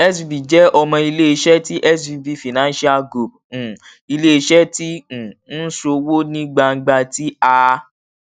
svb jẹ ọmọ ileiṣẹ ti svb financial group um ileiṣẹ ti um n ṣowo ni gbangba ti a